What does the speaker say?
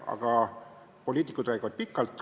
Aga poliitikud räägivad pikalt.